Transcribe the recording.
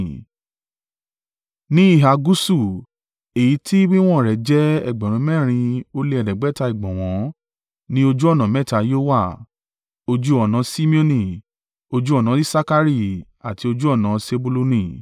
Ní ìhà gúúsù, èyí tí wíwọ̀n rẹ̀ jẹ́ ẹgbẹ̀rún mẹ́rin ó lè ẹ̀ẹ́dẹ́gbẹ̀ta (4,500) ìgbọ̀nwọ́ ní ojú ọ̀nà mẹ́ta yóò wà: ojú ọ̀nà Simeoni, ojú ọ̀nà Isakari àti ojú ọ̀nà Sebuluni.